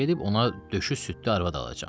Gedib ona döşü südlü arvad alacam.